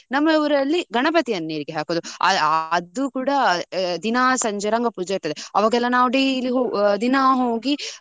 ನಮ್ಮ ಊರಲ್ಲಿ ಗಣಪತಿಯನ್ನು ನೀರಿಗೆ ಹಾಕುದು. ಅ ~ ಅದು ಕೂಡ ದಿನ ಸಂಜೆ ರಂಗ ಪೂಜೆ ಇರ್ತದೆ ಅವಾಗ್ ಎಲ್ಲಾ ನಾವು daily ಹೋ ~ ಹೋಗಿ ದಿನ ಹೋಗಿ.